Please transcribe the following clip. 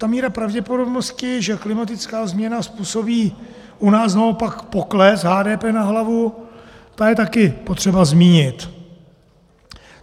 Ta míra pravděpodobnosti, že klimatická změna způsobí u nás naopak pokles HDP na hlavu, ta je taky potřeba zmínit.